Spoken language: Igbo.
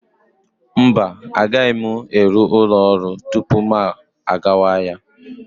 Mba, agaghị m eru ụlọ ọrụ tupu m gawa ahịa.